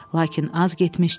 Lakin az getmişdi,